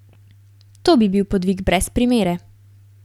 To bi bil podvig brez primere.